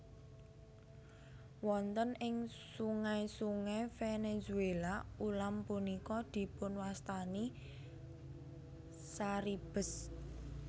Wonten ing sungai sungai Venezuela ulam punika dipunwastani caribes